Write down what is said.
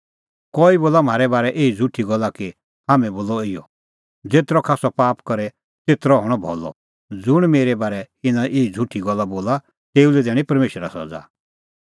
कई बोला म्हारै बारै एही झ़ुठी गल्ला कि हाम्हैं बोला इहअ ज़ेतरअ खास्सअ पाप करे तेतरअ हणअ भलअ ज़ुंण मेरै बारै इना एही झ़ुठी गल्ला बोला तेऊ लै दैणीं परमेशरा सज़ा